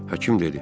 Həkim dedi.